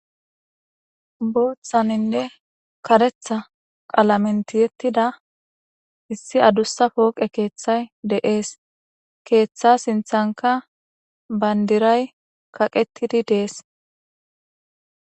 Booththaninne karetha qalamentiyettida issi adussa pooqe keeththay deees keeththa sinthanka bayndiray kaqettidi dees